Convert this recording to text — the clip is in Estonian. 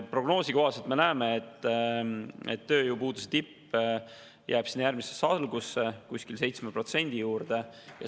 Prognoosi kohaselt, me näeme, jääb tööpuuduse tipp sinna järgmise aasta algusse ja 7% juurde.